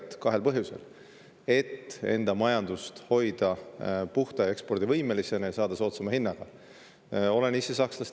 Seda kahel põhjusel: et hoida enda majandust puhta ja ekspordivõimelisena ning saada soodsama hinnaga.